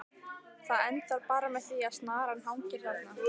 Það endar bara með því að snaran hangir þarna!